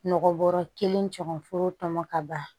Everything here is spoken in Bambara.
Nɔgɔ bɔrɔ kelen caman foro tɔmɔ ka ban